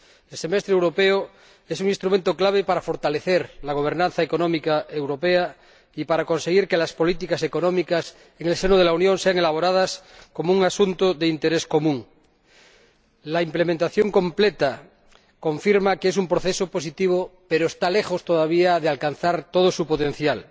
El semestre europeo es un instrumento clave para fortalecer la gobernanza económica europea y para conseguir que las políticas económicas en el seno de la Unión sean elaboradas como un asunto de interés común. La implementación completa confirma que es un proceso positivo, pero está lejos, todavía, de alcanzar todo su potencial.